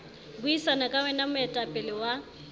buisana ka wena moetapele wa